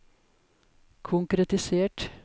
konkretisert